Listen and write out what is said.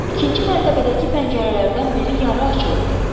İkinci mərtəbədəki pəncərələrdən biri yarı açıq idi.